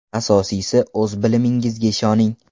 Asosiysi, o‘z bilimingizga ishoning.